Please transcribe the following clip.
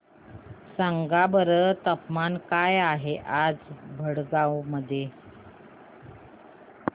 सांगा बरं तापमान काय आहे आज भडगांव मध्ये